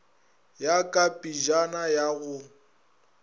ya ka pejana ya go